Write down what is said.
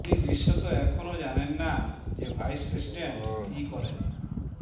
তিনি দৃশ্যত এখনও জানেন না যে ভাইস প্রেসিডেন্ট কি করেন